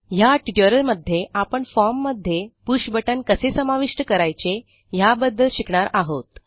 ह्या ट्युटोरियलमध्ये आपण फॉर्म मध्ये पुष बटन कसे समाविष्ट करायचे ह्याबद्दल शिकणार आहोत